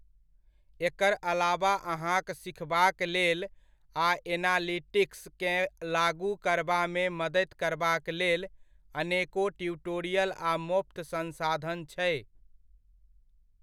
एकर अलावा अहाँक सीखबाक लेल आ एनालिटिक्स केँ लागू करबामे मदति करबाक लेल अनेको ट्यूटोरियल आ मोफ्त संसाधन छै।